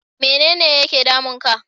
Mene ne yake damun ka?